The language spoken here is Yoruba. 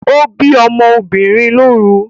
O bi ọ́mọ́ obìnrin lóru